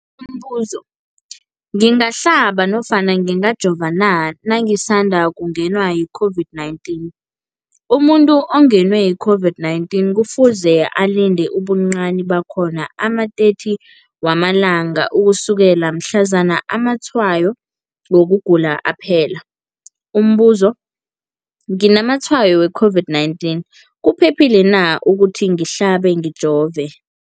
Umbuzo, ngingahlaba nofana ngingajova na nangisandu kungenwa yi-COVID-19? Umuntu ongenwe yi-COVID-19 kufuze alinde ubuncani bakhona ama-30 wama langa ukusukela mhlazana amatshayo wokugula aphela. Umbuzo, nginamatshayo we-COVID-19, kuphephile na ukuthi ngihlabe, ngijove?